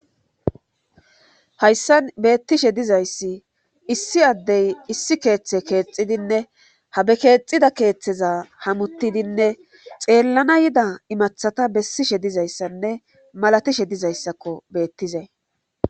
Hayssan beettishe dizayssi issi addey issi keeththe keexidinne habe keexida keeththeza hamutidinne xeellana yida imathata bessishe dizayssanne malatishe dizayssakko beettize.